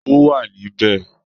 Ó wà níbí